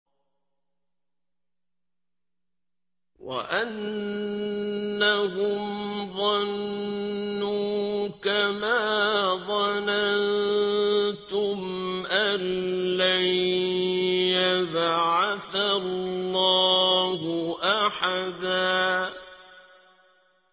وَأَنَّهُمْ ظَنُّوا كَمَا ظَنَنتُمْ أَن لَّن يَبْعَثَ اللَّهُ أَحَدًا